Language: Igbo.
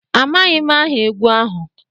Amaghị m aha egwu ahụ